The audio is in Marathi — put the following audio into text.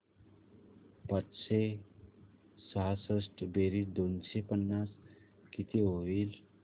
पाचशे सहासष्ट बेरीज दोनशे पन्नास किती होईल